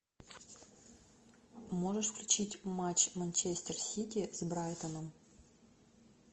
можешь включить матч манчестер сити с брайтоном